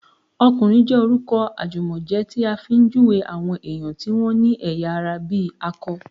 "ọkùnrin" jẹ́ orúkọ àjùmọ̀jẹ́ tí a fi ń júwèé àwọn èèyàn tí wọ́n ní ẹ̀yà ara ìbí akọ